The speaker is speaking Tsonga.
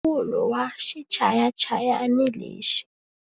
Yingisela mpfumawulo wa xichayachayani lexi.